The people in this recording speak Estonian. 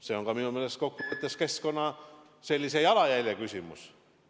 See on minu meelest ka keskkonna jalajälje küsimus.